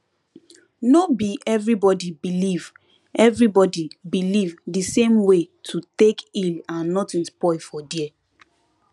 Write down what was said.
no be everybody believe everybody believe the same way to take heal and nothing spoil for there